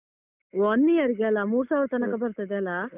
One year ಗೆ ಅಲ್ಲಾ ಮೂರ್ ಸಾವಿರ ತನಕ ಬರ್ತದೆ ಅಲ್ಲಾ?